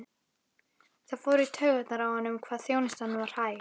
Það fór í taugarnar á honum hvað þjónustan var hæg.